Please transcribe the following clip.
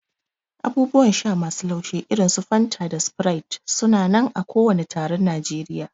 Abubuwan sha masu laushi irin su Fanta da Sprite su na nan a kowani taron Najeriya.